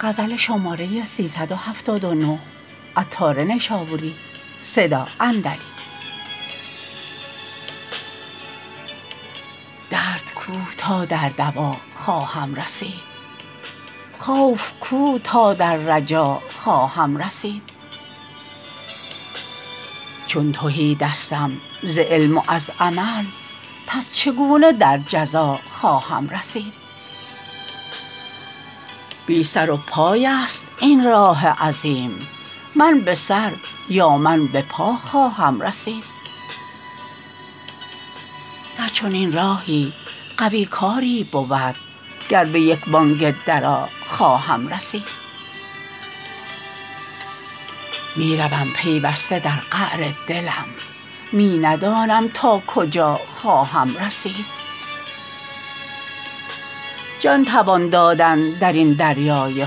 درد کو تا دردوا خواهم رسید خوف کو تا در رجا خواهم رسید چون تهی دستم ز علم و از عمل پس چگونه در جزا خواهم رسید بی سر و پای است این راه عظیم من به سر یا من به پا خواهم رسید در چنین راهی قوی کاری بود گر به یک بانگ درا خواهم رسید می روم پیوسته در قعر دلم می ندانم تا کجا خواهم رسید جان توان دادن درین دریای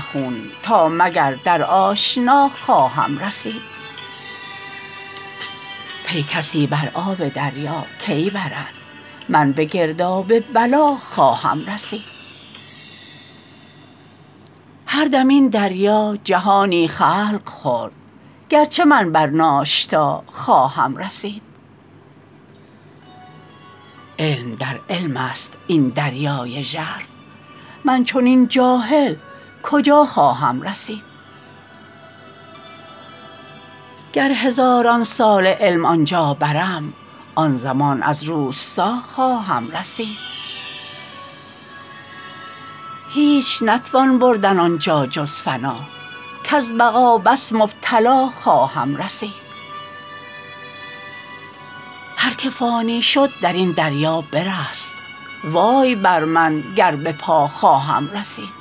خون تا مگر در آشنا خواهم رسید پی کسی بر آب دریا کی برد من به گرداب بلا خواهم رسید هر دم این دریا جهانی خلق خورد گرچه من بر ناشتا خواهم رسید علم در علم است این دریای ژرف من چنین جاهل کجا خواهم رسید گر هزاران ساله علم آنجا برم آن زمان از روستا خواهم رسید هیچ نتوان بردن آنجا جز فنا کز بقا بس مبتلا خواهم رسید هر که فانی شد درین دریا برست وای بر من گر به پا خواهم رسید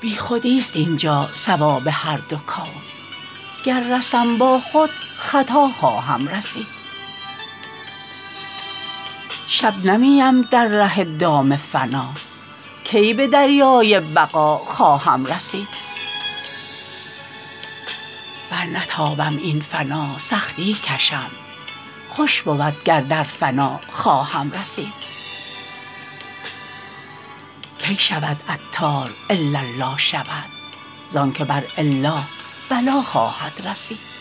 بیخودی است اینجا صواب هر دو کون گر رسم با خود خطا خواهم رسید شبنمی ام ذره ای دارم فنا کی به دریای بقا خواهم رسید برنتابم این فنا سختی کشم خوش بود گر در فنا خواهم رسید کی شود عطار الا لا شود زانچه بر الا بلا خواهم رسید